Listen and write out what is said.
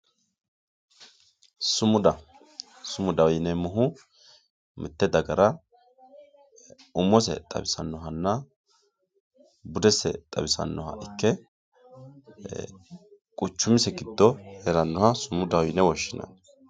sumuda sumudaho yineemohu mitte dagara umose xawisannohonna budese xawisannoha ikke quchumisi giddo heerannoha sumudaho yine woshshinanni.